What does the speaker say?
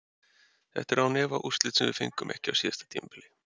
Þetta eru án efa úrslit sem við fengum ekki á síðasta tímabili.